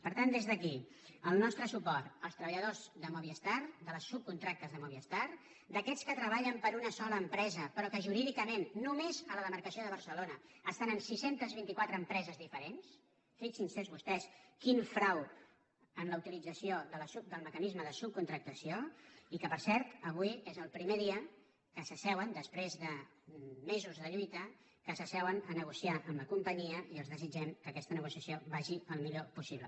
per tant des d’aquí el nostre suport als treballadors de movistar dels subcontractes de movistar d’aquests que treballen per a una sola empresa però que jurídicament només a la demarcació de barcelona estan en sis cents i vint quatre empreses diferents fixin se vostès quin frau en la utilització del mecanisme de subcontractació i que per cert avui és el primer dia que s’asseuen després de mesos de lluita que s’asseuen a negociar amb la companyia i els desitgem que aquesta negociació vagi el millor possible